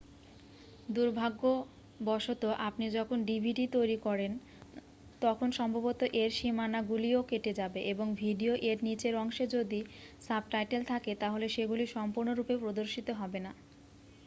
দুর্ভাগ্যবশত আপনি যখন dvd তৈরী করেন তখন সম্ভবত এর সীমানাগুলিও কেটে যাবে এবং ভিডিও এর নিচের অংশে যদি সাবটাইটেল থাকে তাহলে সেগুলি সম্পূর্ণরূপে প্রদর্শিত হবে না